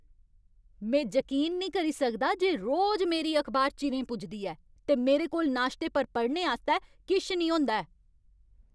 में जकीन निं करी सकदा जे रोज मेरी अखबार चिरें पुजदी ऐ, ते मेरे कोल नाश्ते पर पढ़ने आस्तै किश नेईं होंदा ऐ।